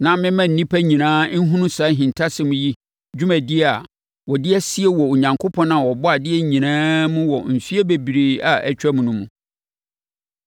na memma nnipa nyinaa nhunu saa ahintasɛm yi dwumadie a wɔde asie wɔ Onyankopɔn a ɔbɔɔ adeɛ nyinaa mu wɔ mfeɛ bebree a atwam no mu.